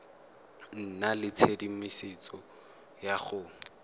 nna le tshedimosetso ya go